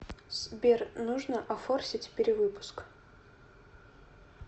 сбер нужно офорсить перевыпуск